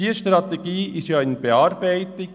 Diese Strategie ist ja in Ausarbeitung.